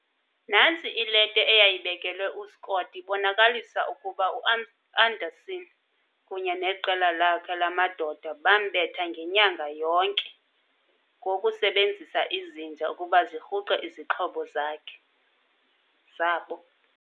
Nantsi ileta eyayibekelwe uScott ibonakalisa ukuba u-Amundsen kunye neqela lakhe lamadoda bambetha ngenyanga yonke, ngokusebenzisa izinja ukuba zirhuqe izixhobo zabo.